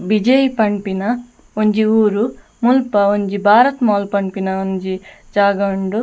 ಬಿಜೈ ಪನ್ಪಿನ ಒಂಜಿ ಊರು ಮುಲ್ಪ ಒಂಜಿ ಬಾರತ್ ಮೊಲ್ ಪನ್ಪಿನ ಒಂಜಿ ಜಾಗ ಉಂಡು.